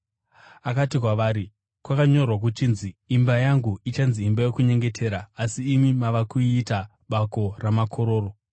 Akati kwavari, “Kwakanyorwa kuchinzi, ‘Imba yangu ichanzi imba yokunyengetera,’ asi imi mava kuiita ‘bako ramakororo.’ ”